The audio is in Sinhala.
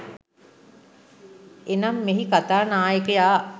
එනම්, මෙහි කතා නායකයා